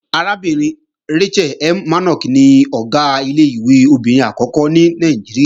Arábìnrin Rachel M. Mannok ni Ọ̀gá ilé-ìwé obìnrin àkọ́kọ́ ní Nàìjíríà